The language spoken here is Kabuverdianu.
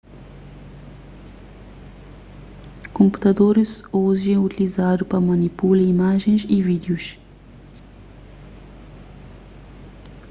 konputadoris oji é utilizadu pa manipula imajens y vídius